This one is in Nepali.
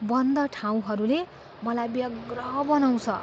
बन्द ठाउँहरूले मलाई व्यग्र बनाउँछ।